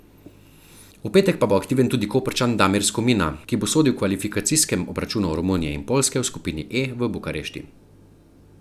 V petek pa bo aktiven tudi Koprčan Damir Skomina, ki bo sodil v kvalifikacijskem obračunu Romunije in Poljske v skupini E v Bukarešti.